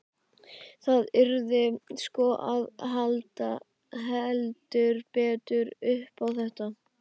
Það yrði sko að halda heldur betur upp á þetta!